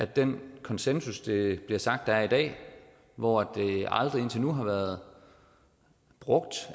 den konsensus det bliver sagt der er i dag hvor det aldrig indtil nu har været brugt